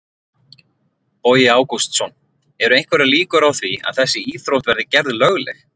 Bogi Ágústsson: Eru einhverjar líkur á því að þessi íþrótt verði gerð lögleg?